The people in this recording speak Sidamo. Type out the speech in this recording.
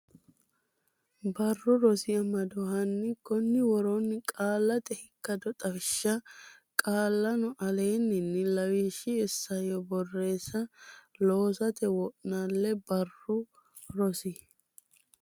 Barru Rosi Amado hanni konni woroonni Qaallate Ikkado Xawishsha qaallanno aleenni ini lawishshi Isayyo Borreessa loosate wo naalle Barru Rosi.